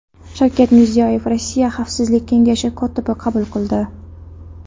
Shavkat Mirziyoyev Rossiya Xavfsizlik kengashi kotibini qabul qildi.